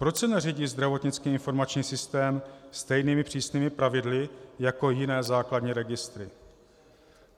Proč se neřídí zdravotnický informační systém stejnými přísnými pravidly jako jiné základní registry?